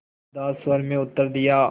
उदास स्वर में उत्तर दिया